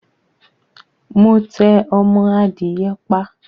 Mo tẹ ọmọ adìye pa